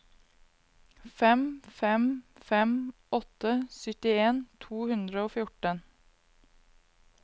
fem fem fem åtte syttien to hundre og fjorten